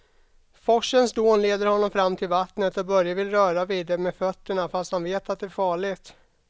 Forsens dån leder honom fram till vattnet och Börje vill röra vid det med fötterna, fast han vet att det är farligt.